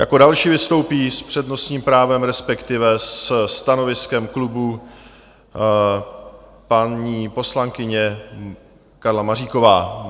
Jako další vystoupí s přednostním právem, respektive se stanoviskem klubu, paní poslankyně Karla Maříková.